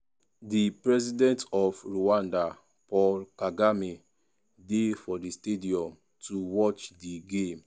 di president of rwanda paul kagame dey for di stadium to watch di game.